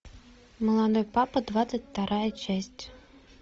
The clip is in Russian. молодой папа двадцать вторая часть